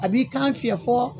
A b'i kan fiyɛ fɔ